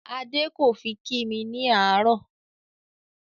Adé kò fi kí mi ní àárò